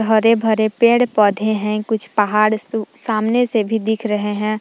हरे भरे पेड़ पौधे हैं कुछ पहाड़ सु सामने से भी दिख रहे हैं ।